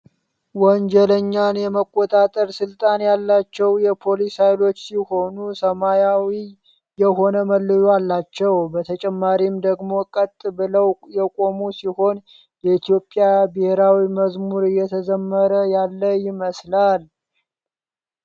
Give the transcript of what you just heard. ወንጀለኛን የመቆጣጠር ስልጣን ያላቸው የፖሊስ ሃይሎች ሲሆኑ ሰማያዊ የሆነ መለዮ አላቸው ። በተጨማሪም ደግሞ ቀጥ ብለው የቆሙ ሲሆን የኢትዮጵያ ብሔራዊ መዝሙር እየተዘመረ ያለ ይመስላል።